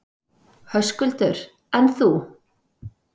Höskuldur: En þú?